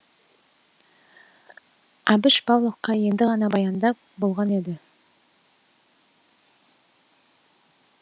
әбіш павловқа енді ғана баяндап болған еді